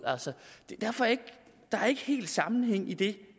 der er ikke helt sammenhæng i det